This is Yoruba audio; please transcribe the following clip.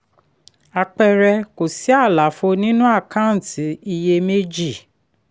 àpẹẹrẹ: kò sí àlàfo nínú àkántì iyèméjì.